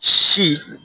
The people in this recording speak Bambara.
Si